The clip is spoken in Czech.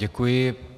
Děkuji.